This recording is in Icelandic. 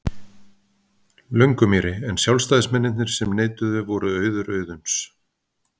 Löngumýri, en sjálfstæðismennirnir sem neituðu voru Auður Auðuns